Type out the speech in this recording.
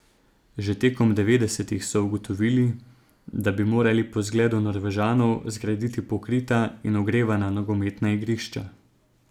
Že tekom devetdesetih so ugotovili, da bi morali po zgledu Norvežanov zgraditi pokrita in ogrevana nogometna igrišča.